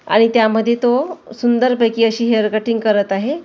आणि त्यामध्ये तो सुंदरपैकी अशी हेअर कटिंग करत आहे.